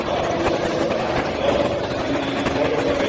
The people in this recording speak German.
Deswegen glaube ich nicht an das Versagen, ich glaube an einen Erfolg.